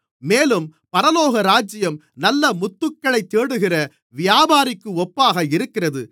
மேலும் பரலோகராஜ்யம் நல்ல முத்துக்களைத்தேடுகிற வியாபாரிக்கு ஒப்பாக இருக்கிறது